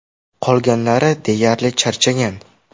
Qolganlari deyarli charchagan.